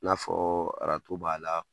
N'a fɔ b'a la